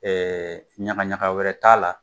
Ɛɛ ɲaga ɲaga wɛrɛ t'a la.